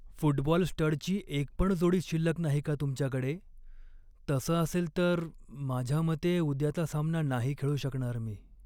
Football स्टडची एकपण जोडी शिल्लक नाही का तुमच्याकडे? तसं असेल तर माझ्या मते उद्याचा सामना नाही खेळू शकणार मी.